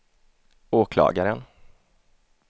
åklagaren